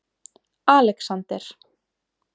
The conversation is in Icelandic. Alexander